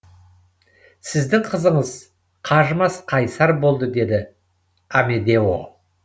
сіздің қызыңыз қажымас қайсар болды деді амедео